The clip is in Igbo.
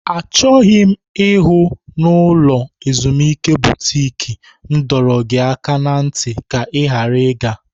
Achọghị m ịhụ na ulo ezimuike butiki m dọrọ gị aka ná ntị ka ị ghara ịga!